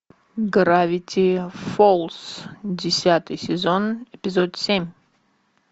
гравити фолз десятый сезон эпизод семь